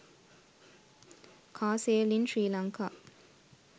car sale in sri lanka